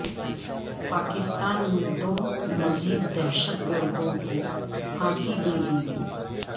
پاکستان میں دو مزید دہشت گردوں کو پھانسی دے دی گئی